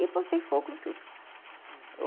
E botei fogo em tudo.